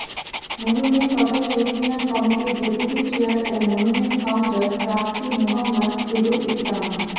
monument তথা শহীদ মিনার কমিটির deputy chair ও monument founder trustee Mohammad Serul ইসলাম